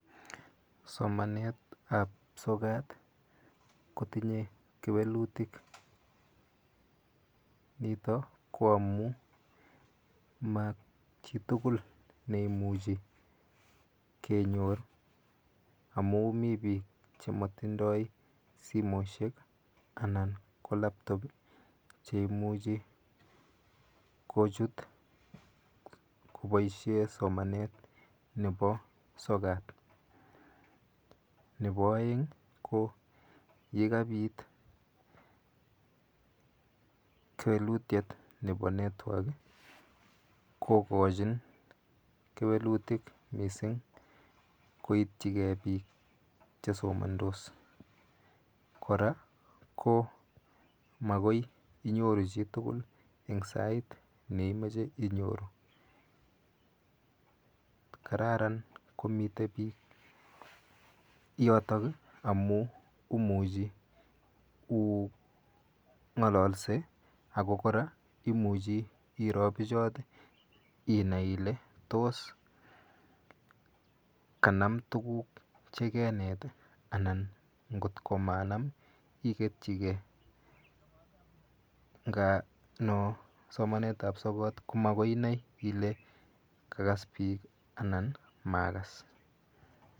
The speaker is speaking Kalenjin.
Somanet ab sokat kotinye kewelutik, nito ko amun majitugul neimuje kenyor amun mi biik chemotindoi simoisiek anan ko labtop cheimuche kochut koboisien somanet nebo sokat, nebo oeng ko negabit kewelutiet nebo network kogojin kewelutik missing koitjigee biik chesomondos, kora ko magoi inyoru chitugul en sait neimiche inyoru, kararan komite biik yotok ii amun imuche u ng'ololsye ako kora imuche iroo bichoton inai ile tos kanam tuguk chegenet ii anan ng'ot ko manan ii iketyigen, ng'a no somanet ab sokat komagoinai kole kagas biik anan magas.